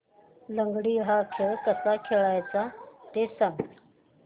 लंगडी हा खेळ कसा खेळाचा ते सांग